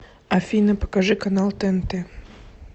афина покажи канал тнт